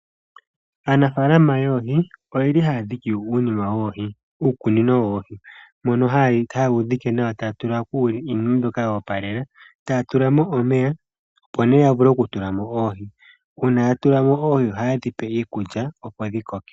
Aanafaalama yoohi oyeli ha ya dhiki uukunino woohi. Mono haye wu dhike nawa eta ya tula ko iinima mbyoka yo opalela. Taya tula mo omeya opo nawa ya vule okutula mo oohi. Uuna ya tulamo oohi ohaye dhi pe iikulya opo dhi koke.